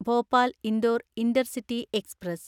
Bhopal Indore intercity express